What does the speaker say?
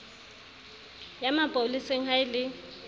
ya mapoleseng ha e le